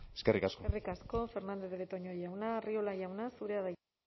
eskerrik asko eskerrik asko fernandez de betoño jauna arriola jauna zurea da hitza